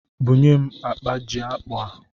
Bunye m akpa ji akpụ a!